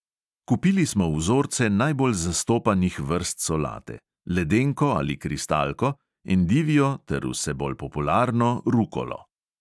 Kupili smo vzorce najbolj zastopanih vrst solate: ledenko ali kristalko, endivijo ter vse bolj popularno rukolo.